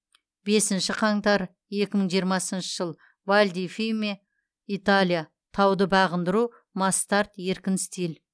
бесінші қаңтар екі мың жиырмасыншы жыл валь ди фьемме италия тауды бағындыру масс старт еркін стиль